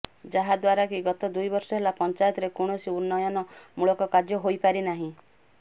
ଯାହାଦ୍ୱାରାକି ଗତ ଦୁଇବର୍ଷ ହେଲା ପଞ୍ଚାୟତରେ କୌଣସି ଉନ୍ନୟନ ମୁଳକ କାର୍ଯ୍ୟ ହୋଇପାରି ନାହିଁ